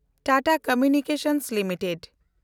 Tata communications limited